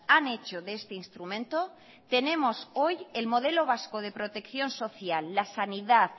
han hecho de este instrumento tenemos hoy el modelo vasco de protección social la sanidad